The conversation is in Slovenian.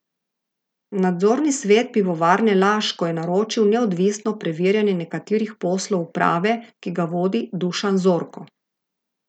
Nadzorni svet Pivovarne Laško je naročil neodvisno preverjanje nekaterih poslov uprave, ki ga vodi Dušan Zorko.